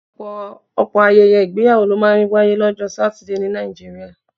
Ọ̀pọ̀ ayẹyẹ ìgbéyàwó ló máa ń wáyé lọ́jọ́ Satidé ní Nàìjíríà